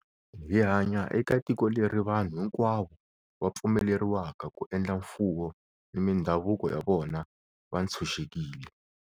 Hi hanya eka tiko leri vanhu hinkwavo va pfumeleriwaka ku endla mfuwo ni mindhavuko ya vona va ntshuxekile.